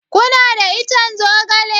Kuna da ican zogale?